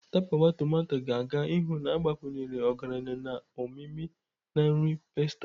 Tapawa tomato ga-aga n'ihu na-agbakwunye ọgaranya na omimi na nri pasta.